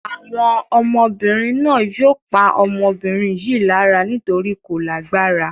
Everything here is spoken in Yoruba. Àwọn ọmọbìnrin náà yóò pa ọmọbìnrin yìí lára nítorí kò lágbára.